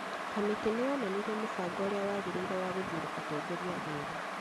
kamĩtĩ nĩ yonanirie mũbango ũrĩa wagĩrĩire wa gũthuura atongoria erũ